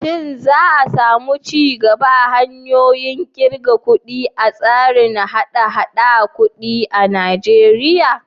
Shin za a samu ci gaba a hanyoyin ƙirga kuɗi a tsarin haɗa-haɗar kuɗi a Najeriya?